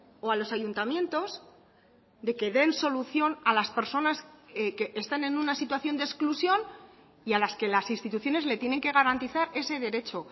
o a los ayuntamientos de que den solución a las personas que están en una situación de exclusión y a las que las instituciones le tienen que garantizar ese derecho